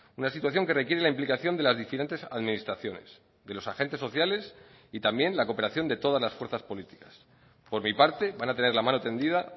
una situación que requiere la implicación de las diferentes administraciones de los agentes sociales y también la cooperación de todas las fuerzas políticas por mi parte van a tener la mano tendida